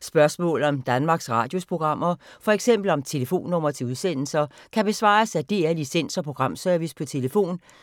Spørgsmål om Danmarks Radios programmer, f.eks. om telefonnumre til udsendelser, kan besvares af DR Licens- og Programservice: tlf.